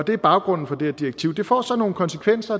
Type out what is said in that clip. det er baggrunden for det her direktiv det får så nogle konsekvenser